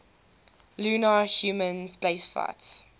lunar human spaceflights